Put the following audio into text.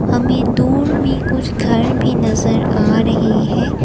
हमे दूर मे कुछ घर भी नजर आ रहे हैं।